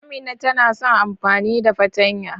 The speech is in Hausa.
Amina tana son amfani da fartanya.